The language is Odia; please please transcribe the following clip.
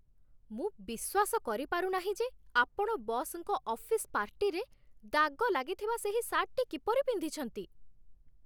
ମୁଁ ବିଶ୍ୱାସ କରିପାରୁ ନାହିଁ ଯେ ଆପଣ ବସ୍‌ଙ୍କ ଅଫିସ୍ ପାର୍ଟିରେ ଦାଗ ଲାଗିଥିବା ସେହି ସାର୍ଟଟି କିପରି ପିନ୍ଧିଛନ୍ତି!